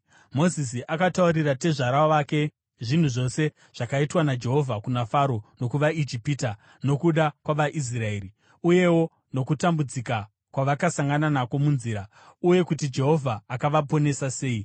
Mozisi akataurira tezvara wake zvinhu zvose zvakaitwa naJehovha kuna Faro nokuvaIjipita nokuda kwavaIsraeri, uyewo nokutambudzika kwavakasangana nako munzira, uye kuti Jehovha akavaponesa sei.